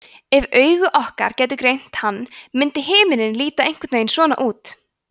ef augu okkar gætu greint hann myndi himinninn líta einhvern veginn svona út